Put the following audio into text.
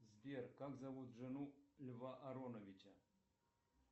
сбер как зовут жену льва ароновича